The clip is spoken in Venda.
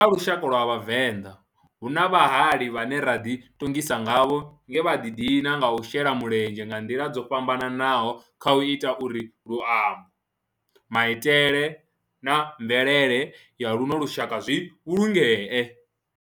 Kha lushaka lwa Vhavenḓa, hu na vhahali vhane ra di tongisa ngavho nge vha di dina nga u shela mulenzhe nga ndila dzo fhambananaho khau ita uri luambo, maitele na mvelele ya luno lushaka zwi vhulungee.